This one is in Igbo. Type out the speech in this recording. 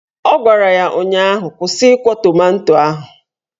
Ọ gwara ya ụnyaahụ "Kwụsị ịkwọ tomanto ahụ!"